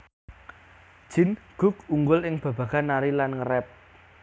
Jin Guk unggul ing babagan nari lan nge rap